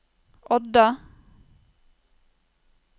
Odda